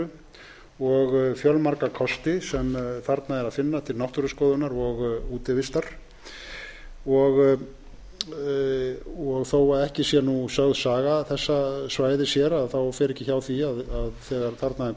indælu og fjölmörgum kostum sem þarna er að finna til náttúruskoðunar og útivistar þó að ekki sé saga þessa svæðis sögð hér fer ekki hjá því að þegar þarna